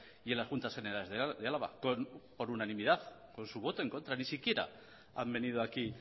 y en las juntas generales de álava por unanimidad con su voto en contra ni siquiera han venido aquí